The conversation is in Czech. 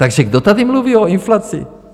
Takže kdo tady mluví o inflaci?